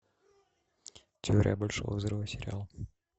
теория большого взрыва сериал